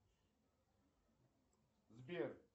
сбер